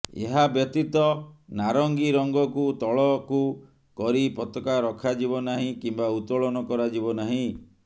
ଏହାବ୍ୟତୀତ ନାରଙ୍ଗୀ ରଙ୍ଗକୁ ତଳକୁ କରି ପତାକା ରଖାଯିବ ନାହିଁ କିମ୍ବା ଉତ୍ତୋଳନ କରାଯିବ ନାହିଁ